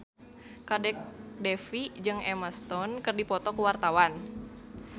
Kadek Devi jeung Emma Stone keur dipoto ku wartawan